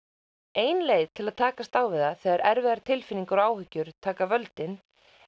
ein leið til að takast á við það þegar erfiðar tilfinningar og áhyggjur taka völdin